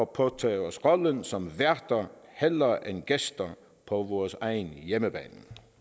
påtage os rollen som værter hellere end gæster på vores egen hjemmebane